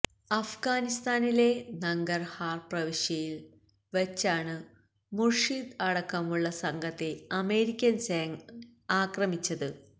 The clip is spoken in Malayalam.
അഫ്ഗാനിസ്ഥാനിലെ നങ്കർഹാർ പ്രവിശ്യയിൽ വച്ചാണ് മുർഷിദ് അടക്കമുള്ള സംഘത്തെ അമേരിക്കൻ സേന ആക്ര